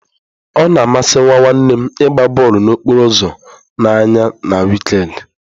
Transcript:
Ọ na amasị nwa nwanne m ịgba bọọlụ n'okporo ụzọ n'anya na wịkend.